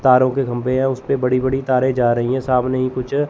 तारों के खंभे हैं उसपे बड़ी बड़ी तारे जा रही है सामने ही कुछ--